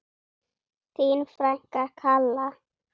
Þín frænka, Kalla.